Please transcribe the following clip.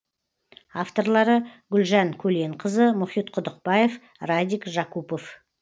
авторлары гүлжан көленқызы мұхит құдықбаев радик жакупов